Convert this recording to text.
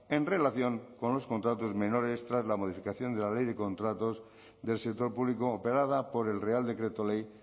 en relación con los contratos menores tras la modificación de la ley de contratos del sector público operada por el real decreto ley